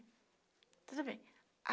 Tudo bem.